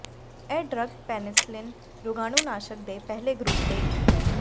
ਇਹ drug penicillin ਰੋਗਾਣੂਨਾਸ਼ਕ ਦੇ ਪਹਿਲੇ ਗਰੁੱਪ ਦੇ ਇੱਕ ਹੈ